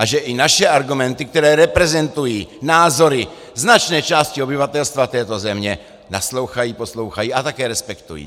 A že i naše argumenty, které reprezentují názory značné části obyvatelstva této země, naslouchají, poslouchají a také respektují.